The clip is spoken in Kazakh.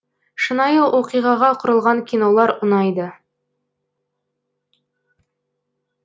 шынайы оқиғаға құрылған кинолар ұнайды